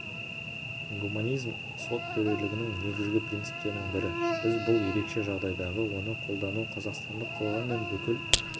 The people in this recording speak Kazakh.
гуманизм сот төрелігінің негізгі принциптерінің бірі біз бұл ерекше жағдайдағы оны қолдану қазақстандық қоғам мен бүкіл